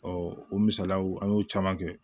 o misaliyaw an y'o caman kɛ